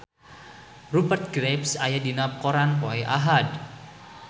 Rupert Graves aya dina koran poe Ahad